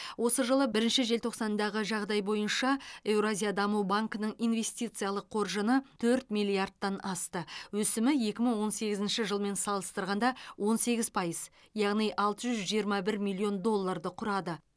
осы жылы бірінші желтоқсандағы жағдай бойынша еуразия даму банкінің инвестициялық қоржыны төрт миллиардтан асты өсімі екі мың он сегізінші жылмен салыстырғанда он сегіз пайыз алты жүз жиырма бір миллион доллорды құрады